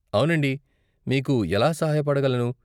అవునండి, మీకు ఎలా సహాయపడగలను?